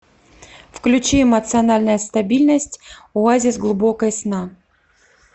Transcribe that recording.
включи эмоциональная стабильность оазис глубокой сна